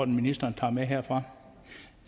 ministeren tager med herfra